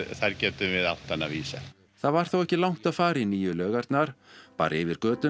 þar getum við átt hana vísa það var þó ekki langt að fara í nýju laugarnar bara yfir götuna